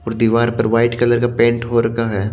और दीवार पर वाइट कलर का पेंट हो रखा है।